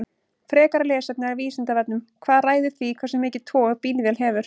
Frekara lesefni af Vísindavefnum: Hvað ræður því hversu mikið tog bílvél hefur?